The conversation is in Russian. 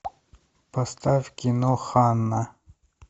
поставь кино ханна